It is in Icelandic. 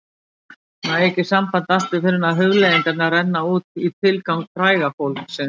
Næ ekki sambandi aftur fyrr en hugleiðingarnar renna út í tilgang fræga fólksins